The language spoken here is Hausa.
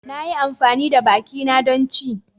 Na yi amfani da bakina don ci.